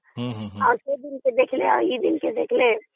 ଆଉ ସେ ଦିନଠୁ ଏବେର ଦିନ ଦେଖିଲେ